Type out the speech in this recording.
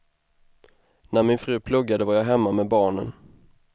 När min fru pluggade var jag hemma med barnen.